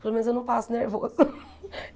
Pelo menos eu não passo nervoso.